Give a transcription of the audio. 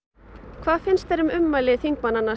hvað finnst þér um ummæli þingmannanna